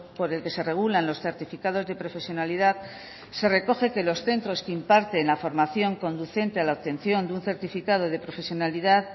por el que se regulan los certificados de profesionalidad se recoge que los centros que imparten la formación conducente a la obtención de un certificado de profesionalidad